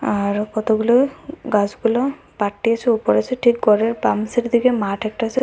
আরও কতগুলো গাছগুলো পাটি আসে উপরে আসে ঠিক ঘরের বাম সাইডের দিকে মাঠ একটা আছে।